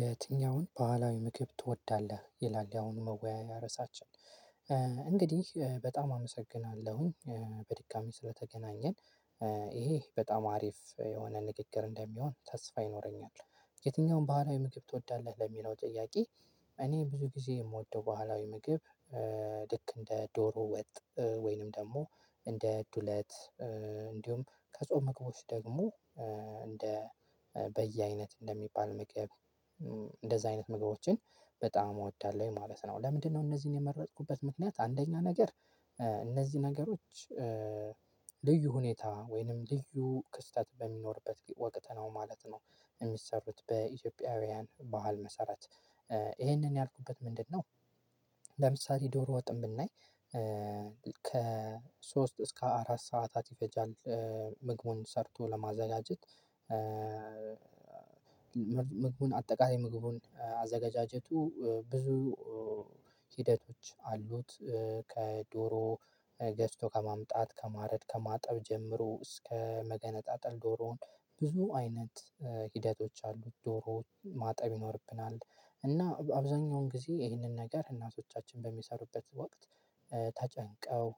የትኛውን? ባህላዊ ምግብ ትወዳለህ ይላል ያሁኑ መወያያ ርዕሳችን። እንግዲህ በጣም አመሰግናለሁኝ በድጋሚ ስለተገናኘን። ይሄ በጣም አሪፍ የሆነ ንግግር እንደሚሆን ተስፋ ይኖረኛል። የትኛውን ባህላዊ ምግብ ትወዳለህ ለሚለው ጥያቄ? እኔ ብዙ ጊዜ የምወደው በህላዊ የምግብ ልክ እንደ ዶሮ ወጥ ወይንም ደግሞ እንደ ዱለት እንዲሁም ከጾም ምግቦች ደግሞ እንደ በየአይነት እንደሚባል ምግብ እንደዛ አይነት ምግቦችን በጣም እወዳለሁ ማለት ነው። ለምንድነው እነዚህን የመረጥኩበት ምክንያት? አንደኛ ነገር እነዚህ ነገሮች ልዩ ሁኔታ ወይንም ልዩ ክስተት በሚኖርበት ወቀት ነው ማለት ነው። የሚሰሩት በኢትዮጵያውያን ባህል መሰረት። ይህንን ያልኩበት ምንድነው? ለምሳሌ ዶሮ ወጥም ብናይ ከሶስት እስከ አራት ሰዓታት ይፈጃል። ምግቡን ሰርቶ ለማዘጋጀት። ምግቡን አጠቃላይ ምግቡን አዘገጃጀቱ ብዙ ሂደቶች አሉት። ከዶሮ ገዝቶ ከማምጣት ከማረድ ከማጠብ ጀምሮ እስከ መገነጣጠል ዶሮውን ብዙ አይነት ሂደቶች አሉት። ዶሮውን ማጠብ ይኖርብናል። እና አብዛኛውን ጊዜ ይህንን ነገር እናቶቻችን በሚሰሩበት ወቅት። ተጨንቀው